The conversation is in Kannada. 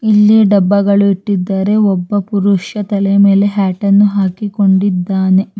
ಇಲ್ಲಿ ಡಬ್ಬಗಳು ಇಟ್ಟಿದ್ದಾರೆ ಒಬ್ಬ ಪುರುಷ ತಲೆ ಮೇಲೆ ಹ್ಯಾಟ್ ಅನ್ನು ಹಾಕಿಕೊಂಡಿದ್ದಾನೆ.